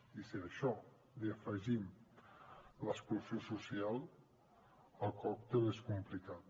i si a això hi afegim l’exclusió social el còctel és complicat